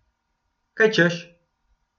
Kaj češ.